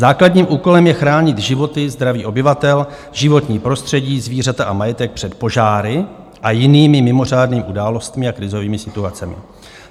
Základním úkolem je chránit životy, zdraví obyvatel, životní prostředí, zvířata a majetek před požáry a jinými mimořádným událostmi a krizovými situacemi.